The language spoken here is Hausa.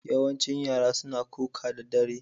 Yawancin yara suna kuka da dare.